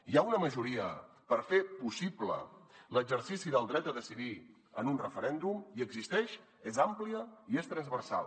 hi ha una majoria per fer possible l’exercici del dret a decidir en un referèndum hi existeix és àmplia i és transversal